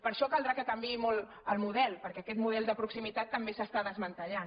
per això caldrà que canviï molt el model perquè aquest model de proximitat també s’està desmantellant